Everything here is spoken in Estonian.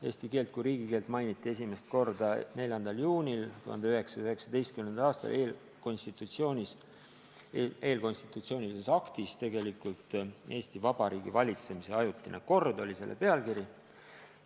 Eesti keelt kui riigikeelt mainiti esimest korda 4. juunil 1919. aastal eelkonstitutsioonilises aktis, "Eesti Vabariigi valitsemise ajutine kord" oli selle pealkiri.